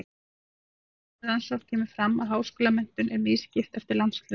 Í nýlegri rannsókn kemur fram að háskólamenntun er misskipt eftir landshlutum.